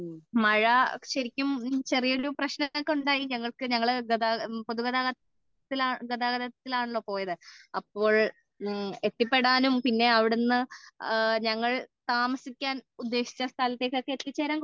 മഴ ശരിക്കും ചെറിയൊരു പ്രശ്നം ഒക്കെ ഉണ്ടായി ഞങ്ങൾക്ക് ഞങ്ങളെ പൊതു ഗതാഗതം ഗതാഗതത്തിൽ ആണല്ലോ പോയത് അപ്പോൾ എത്തിപെടാനും പിന്നെ അവിടുന്ന് ഞങ്ങൾ താമസിക്കാൻ ഉദ്ദേശിച്ച സ്ഥലത്ത് എത്തിച്ചേരാൻ കുറച്ച